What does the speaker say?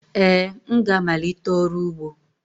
Ee, m ga-amalite ọrụ ugbo